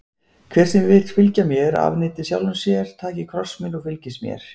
Hver sem vill fylgja mér, afneiti sjálfum sér, taki kross sinn og fylgi mér.